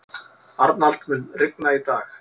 Arnald, mun rigna í dag?